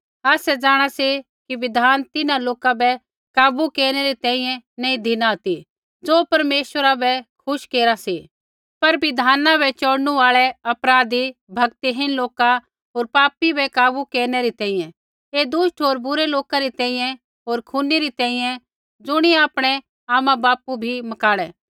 आसै जाँणा सी कि बिधान तिन्हां लोका बै काबू केरनै री तैंईंयैं नैंई धिना ती ज़ो परमेश्वरा बै खुश केरा सी पर बिधाना बै चोड़नू आल़ै अपराधी भक्तिहीन लोका होर पापी बै काबू केरनै री तैंईंयैं ऐ दुष्ट होर बुरै लोका री तैंईंयैं होर खूनी री तैंईंयैं ज़ुणियै आपणै आमाबापू भी मकाणै